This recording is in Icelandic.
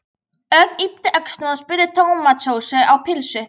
Örn yppti öxlum og smurði tómatsósu á pylsu.